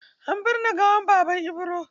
An binne gawar Baban Ibro.